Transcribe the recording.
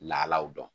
Lahalaw dɔn